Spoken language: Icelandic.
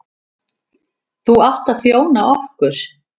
Þú átt að þjóna okkur.